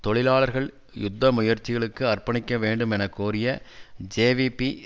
தொழிலாளர்கள் யுத்த முயற்சிகளுக்கு அர்ப்பணிக்க வேண்டும் என கோரிய ஜேவிபி